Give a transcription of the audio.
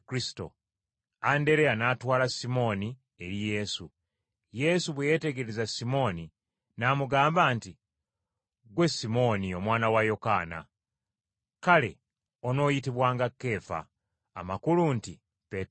Andereya n’atwala Simooni eri Yesu. Yesu bwe yeetegereza Simooni, n’amugamba nti, “Ggwe Simooni omwana wa Yokaana, kale onooyitibwanga Keefa,” amakulu nti Peetero.